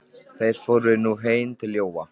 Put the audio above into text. Þeir fóru nú heim til Jóa.